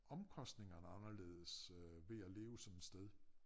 Omkostningerne er anderledes ved at leve sådan et sted